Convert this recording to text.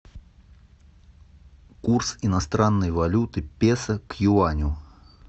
курс иностранной валюты песо к юаню